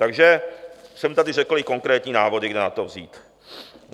Takže jsem tady řekl i konkrétní návody, kde na to vzít.